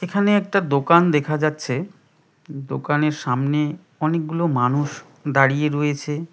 এখানে একটা দোকান দেখা যাচ্ছে দোকানের সামনে অনেকগুলো মানুষ দাঁড়িয়ে রয়েছে।